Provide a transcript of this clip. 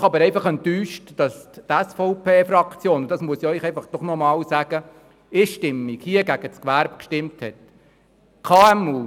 Ich bin jedoch enttäuscht – und das möchte ich nochmals betonen –, dass die SVP-Fraktion einstimmig gegen das Gewerbe gestimmt hat.